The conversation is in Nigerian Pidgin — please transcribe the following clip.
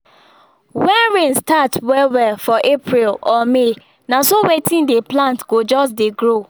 when rain start well well for april or may na so wetin dey plant go just dey grow